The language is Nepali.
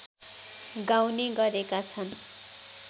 गाउने गरेका छन्